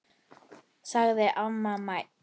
sagði amma mædd.